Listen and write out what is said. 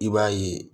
I b'a ye